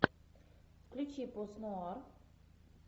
включи пост нуар